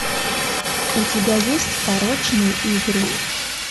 у тебя есть порочные игры